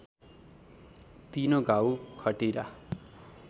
तिनो घाउ खटिरा